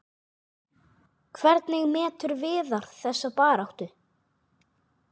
Hvernig metur Viðar þessa baráttu?